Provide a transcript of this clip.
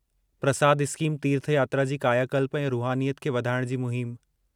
प्रसाद scheme तीर्थयात्रा जी कायाकल्प ऐं रूहानीयत खे वधाइण जी मुहिम